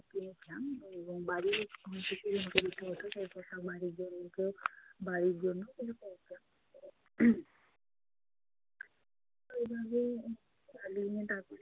কিনেছিলাম এবং বাড়ি সেই পোশাক বাড়ি বাড়ির জন্যও কিছু তো এভাবেই